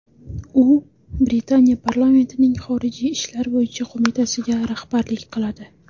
U Britaniya parlamentining xorijiy ishlar bo‘yicha qo‘mitasiga rahbarlik qiladi.